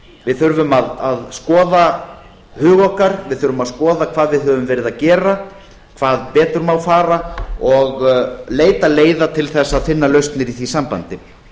við þurfum að skoða huga okkar við þurfum að skoða hvað við höfum verið að geta hvað betur má fara og leita leiða til þess að finna lausnir í því sambandi